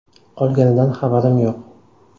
Qolganidan xabarim yo‘q.